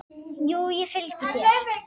Jú, ég fylgi þér.